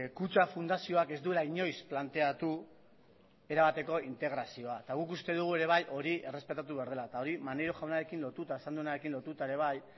kutxa fundazioak ez duela inoiz planteatu erabateko integrazioa eta guk uste dugu ere bai hori errespetatu behar dela eta hori maneiro jaunarekin lotuta esan duenarekin lotuta ere bai